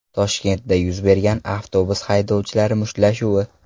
Toshkentda yuz bergan avtobus haydovchilari mushtlashuvi.